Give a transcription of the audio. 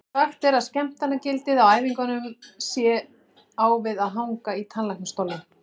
Sagt er að skemmtanagildið á æfingunum sé á við að hanga í tannlæknastólnum.